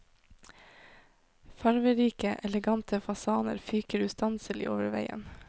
Farverike elegante fasaner fyker ustanselig over veien.